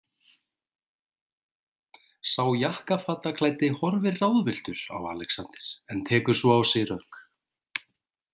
Sá jakkafataklæddi horfir ráðvilltur á Alexander en tekur svo á sig rögg.